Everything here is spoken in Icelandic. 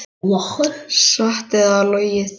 Satt eða logið.